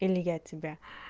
или я тебя